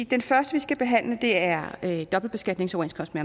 den første vi skal behandle er er dobbeltbeskatningsoverenskomsten